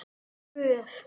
Og Guð.